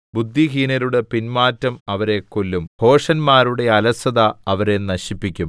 ബുദ്ധിഹീനരുടെ പിന്മാറ്റം അവരെ കൊല്ലും ഭോഷന്മാരുടെ അലസത അവരെ നശിപ്പിക്കും